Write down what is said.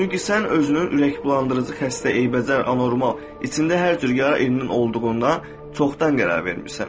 Çünki sən özünün ürəkbulandırıcı xəstə, eybəcər, anormal, içində hər cür yara, irin olduğundan çoxdan qərar vermisən.